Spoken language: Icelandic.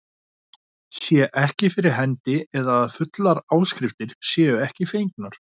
sé ekki fyrir hendi eða að fullar áskriftir séu ekki fengnar.